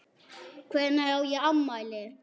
Hvenær á ég afmæli?